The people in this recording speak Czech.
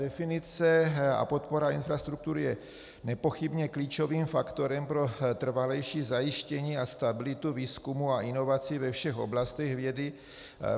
definice a podpora infrastruktury je nepochybně klíčovým faktorem pro trvalejší zajištění a stabilitu výzkumu a inovací ve všech oblastech vědy.